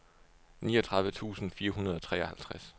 niogtredive tusind fire hundrede og treoghalvtreds